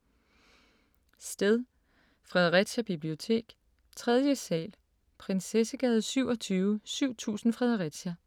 Sted: Fredericia bibliotek, 3. sal. Prinsessegade 27, 7000 Fredericia